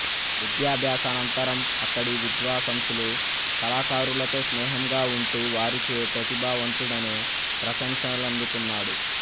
విద్యాభ్యాసానంతరం అక్కడి విద్వాసంసులు కళాకారులతో స్నేహంగావుంటూ వారిచే ప్రతిభావంతుడనే ప్రశంసలందుకు న్నాడు